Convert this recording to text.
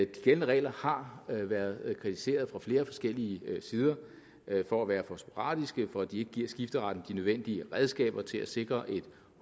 gældende regler har været kritiseret fra flere forskellige sider for at være for sporadiske for at de ikke giver skifteretten de nødvendige redskaber til at sikre et